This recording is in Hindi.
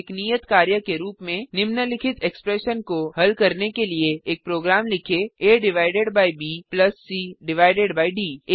एक नियत कार्य के रूप में160 निम्नलिखित एक्सप्रेशन को हल करने के लिए एक प्रोग्राम लिखें a divided by b plus c divided by D